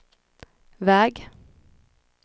väg